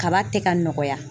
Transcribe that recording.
Kaba tɛ ka nɔgɔya